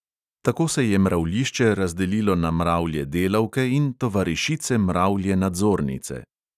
Tako se je mravljišče razdelilo na mravlje delavke in tovarišice mravlje nadzornice.